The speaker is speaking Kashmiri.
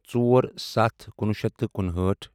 ژور سَتھ کُنوُہ شیٚتھ تہٕ کُنہٲٹھ